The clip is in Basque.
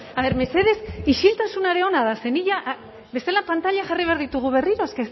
a ver mesedez isiltasuna ere ona da ze ni ja bestela pantailak jarri behar ditugu berriro es